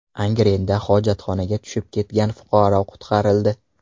Angrenda hojatxonaga tushib ketgan fuqaro qutqarildi.